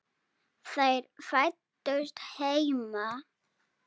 Þær fæddust heima.